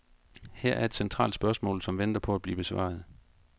Her er et centralt spørgsmål, som venter på at blive besvaret.